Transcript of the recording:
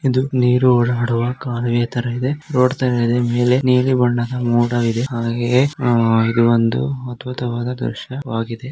ಇದು ನೀರು ಹರಿಯುವ ಕಾಲುವೆ ತರ ಇದೆ ಇದು ಒಂದು ಅದ್ಭುತವಾದ ದೃಶ್ಯವಾಗಿದೆ.